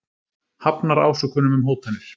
Hafnar ásökunum um hótanir